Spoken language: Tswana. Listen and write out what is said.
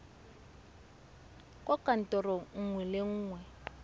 kwa kantorong nngwe le nngwe